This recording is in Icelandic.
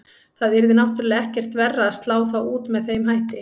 Það yrði náttúrulega ekkert verra að slá þá út með þeim hætti.